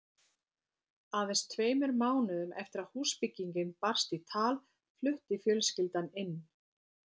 Aðeins tveimur mánuðum eftir að húsbyggingin barst í tal flutti fjölskyldan inn.